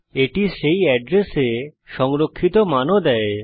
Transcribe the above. এটি সেই এড্রেসে সংরক্ষিত মান ও দেয়